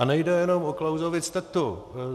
A nejde jenom o Klausovic tetu.